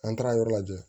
An taara yɔrɔ lajɛ